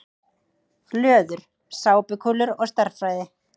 Löður: Sápukúlur og stærðfræði.